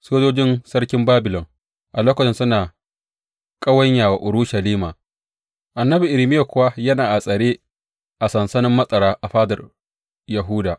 Sojojin sarkin Babilon a lokacin suna ƙawanya wa Urushalima annabi Irmiya kuwa yana a tsare a sansanin matsara a fadar Yahuda.